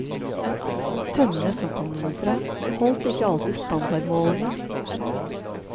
Tønnene, som kom nordfra, holdt ikke alltid standardmålene.